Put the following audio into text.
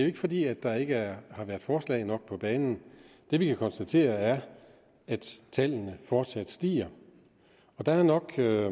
ikke fordi der ikke har været forslag nok på banen det vi kan konstatere er at tallene fortsat stiger og der nok er